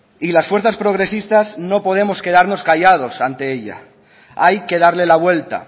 y las fuerzas progresistas no podemos quedarnos callado ante ella hay que darle la vuelta